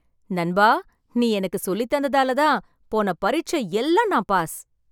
நண்பா, நீ எனக்கு சொல்லித் தந்ததால் தான் போன பரீட்சை எல்லாம் நான் பாஸ்.